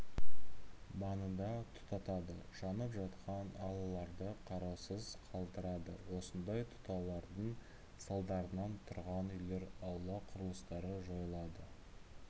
маңында тұтатады жанып жатқан алауларды қараусыз қалдырады осындай тұтатулардың салдарынан тұрғын үйлер аула құрылыстары жойылады